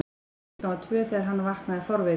klukkan var tvö þegar hann vaknaði fárveikur.